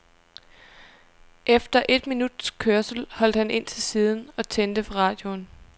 Efter et minuts kørsel holdt han ind til siden og tændte for radioen.